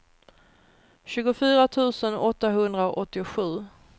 tjugofyra tusen åttahundraåttiosju